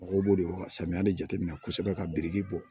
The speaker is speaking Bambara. Mɔgɔw b'o de dɔn ka samiya de jateminɛ kosɛbɛ ka biriki bɔ